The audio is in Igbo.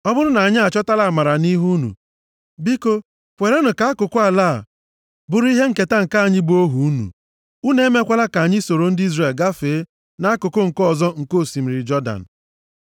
Ọ bụrụ na anyị achọtala amara nʼihu unu, biko, kwerenụ ka akụkụ ala a bụrụ ihe nketa nke anyị bụ ohu unu. Unu emekwala ka anyị soro ndị Izrel gafee nʼakụkụ nke ọzọ nke osimiri Jọdan.”